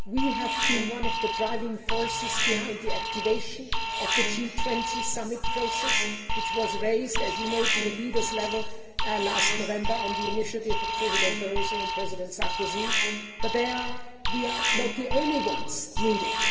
We have been one of the driving forces behind the activation of the G20 Summit process which was raised, as you know, to leaders' level last November on the initiative of President Barroso and President Sarkozy, but we are not the only ones that are needed.